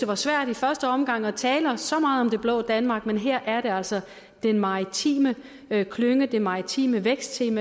var svært i første omgang at tale så meget om det blå danmark men her er det altså den maritime klynge det maritime vækstteam